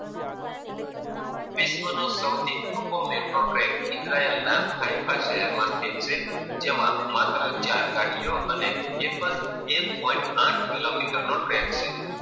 વિશ્વ નો સૌથી ટૂંકો મેર્ટ્રો ટ્રેન, ઇઝરાયેલ ના હાય ફાય શહેર માથી જેમાં માત્ર ચાર ગાડીઓ અને એક એક પોઇન્ટ આઠ કિલોમીટર નો ટ્રેક છે.